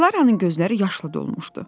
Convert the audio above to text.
Dilaranın gözləri yaşla dolmuşdu.